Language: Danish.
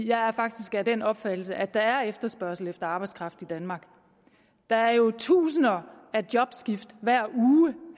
jeg er faktisk af den opfattelse at der er efterspørgsel efter arbejdskraft i danmark der er jo tusinder af jobskift hver uge